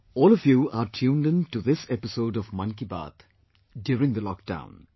All of you are tuned into this episode of 'Mann Ki Baat 'during the lockdown